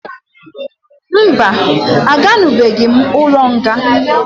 Mba, a ganubeghi m ụlọ nga